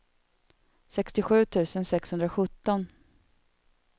sextiosju tusen sexhundrasjutton